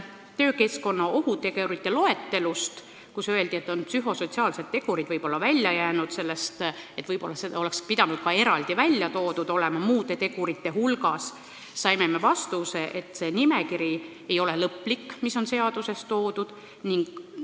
Töökeskkonna ohutegurite loetelu ja selle kohta, et psühhosotsiaalsed tegurid on sellest välja jäänud, võib-olla oleks pidanud need olema eraldi ära toodud muude tegurite hulgas, saime vastuse, et see nimekiri, mis on seaduses toodud, ei ole lõplik.